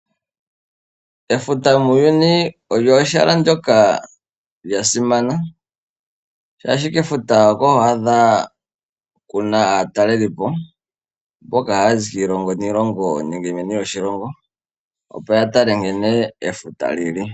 Efuta muuyuni olyo ehala ndyoka lya simana shaashi kefuta oko haku adhika ku na aatalelipo mboka haya zi kiilongo niilongo nenge meni lyoshilongo opo ya tale nkene efuta li li.